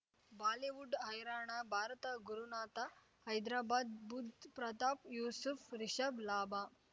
Bollywood ಹೈರಾಣ ಭಾರತ ಗುರುನಾಥ ಹೈದರಾಬಾದ್ ಬುಧ್ ಪ್ರತಾಪ್ ಯೂಸುಫ್ ರಿಷಬ್ ಲಾಭ